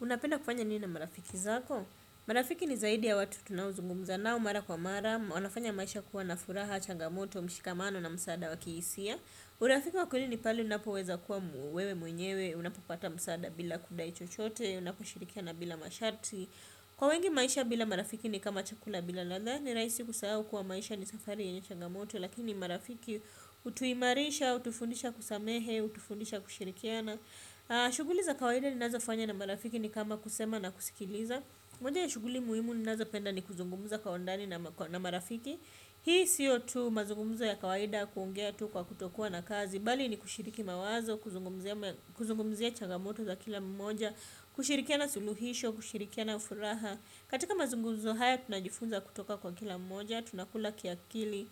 Unapenda kufanya nini na marafiki zako? Marafiki ni zaidi ya watu tunaozungumza nao mara kwa mara. Wanafanya maisha kuwa na furaha changamoto mshikamano na msaada wa kihisia. Urafiki wakweli ni pali unapoweza kuwa wewe mwenyewe. Unapopata msaada bila kudai chochote. Unapo shirikiana bila masharti. Kwa wengi maisha bila marafiki ni kama chakula bila latha. Ni rahisi kusahau kuwa maisha ni safari yenye changamoto. Lakini marafiki hutuimarisha, hutufundisha kusamehe, hutufundisha kushirikiana. Na shuguli za kawaida ninazo fanya na marafiki ni kama kusema na kusikiliza moja ya shuguli muhimu ninazo penda ni kuzungumuza kwa undani na marafiki hii siyo tu mazungumuzo ya kawaida kuongea tu kwa kutokua na kazi bali ni kushiriki mawazo, kuzungumzia kuzungumuzia chagamoto za kila mmoja kushirikiana suluhisho, kushirikiana furaha katika mazungumuzo haya tunajifunza kutoka kwa kila mmoja tunakula kiakili,